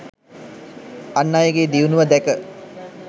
අන් අයගේ දියුණුව දැක